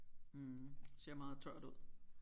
Mh ser meget tørt ud